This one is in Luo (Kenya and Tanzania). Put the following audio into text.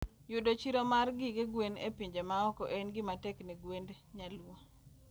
Yudo chiro mara gige gwen e pinje maoko en gima tek ne gwend nyaluo.